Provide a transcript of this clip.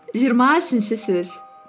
жиырма үшінші сөз